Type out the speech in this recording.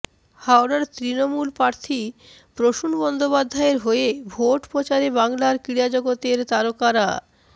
হাওড়ার তৃণমূল প্রার্থী প্রসূন বন্দ্যোপাধ্যায়ের হয়ে ভোট প্রচারে বাংলার ক্রীড়া জগতের তারকারা